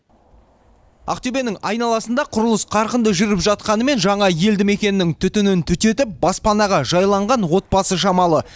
ақтөбенің айналасында құрылыс қарқынды жүріп жатқанымен жаңа елді мекеннің түтінін түтетіп баспанаға жайланған отбасы шамалы